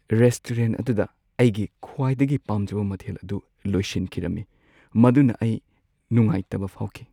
Restaurant ꯑꯗꯨꯗ ꯑꯩꯒꯤ ꯈ꯭ꯋꯥꯏꯗꯒꯤ ꯄꯥꯝꯖꯕ ꯃꯊꯦꯜ ꯑꯗꯨ ꯂꯣꯏꯁꯤꯟꯈꯤꯔꯝꯏ ꯃꯗꯨꯅ ꯑꯩ ꯅꯨꯡꯉꯥꯏꯇꯕ ꯐꯥꯎꯈꯤ ꯫